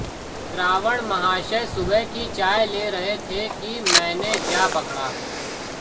रावण महाशय सुबह की चाय ले रहे थे कि मैंने जा पकड़ा